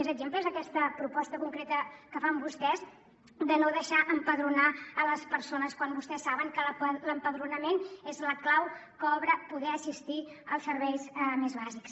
més exemples és el cas d’aquesta proposta concreta que fan vostès de no deixar empadronar les persones quan vostès saben que l’empadronament és la clau que obre poder assistir als serveis més bàsics